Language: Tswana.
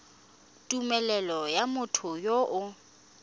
tumelelo ya motho yo o